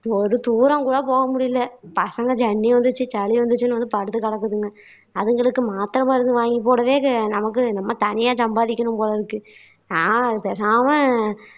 ஒரு தூரம் கூட போக முடியலை பசங்க ஜன்னி வந்துருச்சு சளி வந்துருச்சின்னு வந்து படுத்து கிடக்குதுங்க அதுங்களுக்கு மாத்திரை மருந்து வாங்கி போடவே நமக்கு நம்ம தனியா சம்பாதிக்கணும் போலருக்கு நான் பேசாம